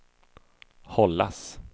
hållas